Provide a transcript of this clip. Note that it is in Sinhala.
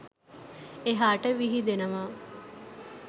එහාට විහිදෙනවා.